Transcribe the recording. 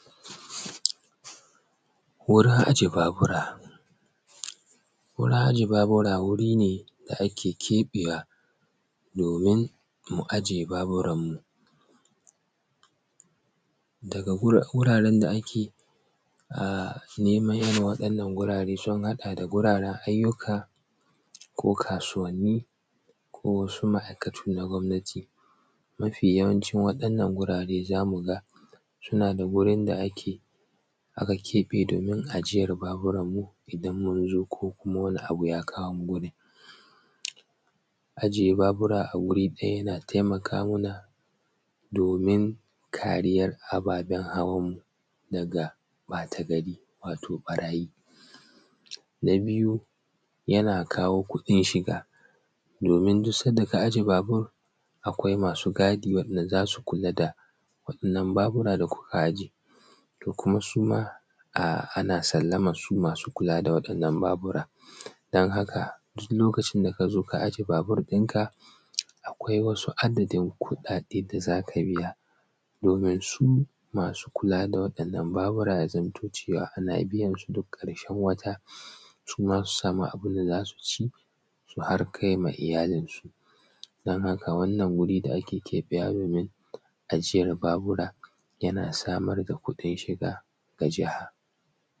Wurin aje Babura. Wuri ne da ake keɓewa domin mu aje baburan mu. Daga wuraran da ake neman irin waɗanan wurare su haɗa da wuraran aiyyuka, ko kasuwanini, ko wasu ma'aikatu na gwamnati. Mafi yawanci waɗanan wurare za mu ga suna da wurin da aka keɓe domin ajiyar baburan mu idan mun zo ko kuma wani abu ya kawo mu gurin. Ajiye babura a wurin ɗaya yana taimaka muna domin kariyan ababen hawan mu daga ɓata gari, wato ɓarayi. Na biyu yana kawo kuɗin shiga, domin duk sanda ka aje babur akwai masu gadi wa'inda za su kula da wa'inan babura da kuka aje. To kuma suma anan sallaman su su masu kula da wa'innan babura. Don haka duk lokacin da ka zo ka aje babur ɗinka akwai wasu adadin kuɗaɗe da za ka biya domin su masu kula da waɗanan Babura ya zamto cewa ana biyansu duk ƙarshen wata, su ma su samu abin da za su ci, su har kai ma iyalinsu. Don haka wannan guri da ake keɓewa domin aje babura shi ma yana kawo kuɗin shiga ga jiha.